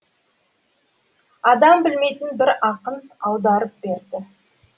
адам білмейтін бір ақын аударып берді